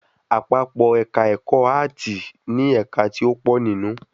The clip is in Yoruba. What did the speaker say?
Àpapọ́ èka ẹ̀kọ́ áàtì ni ẹ̀ka ti o pọ̀ nínú